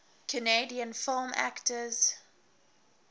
canadian film actors